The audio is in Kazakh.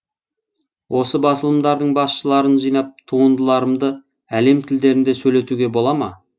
осы басылымдардың басшыларын жинап туындыларымды әлем тілдерінде сөйлетуге бола ма